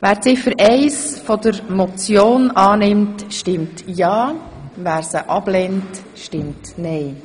Wer die Ziffer 1 als Motion annimmt, stimmt ja, wer dies ablehnt, stimmt nein.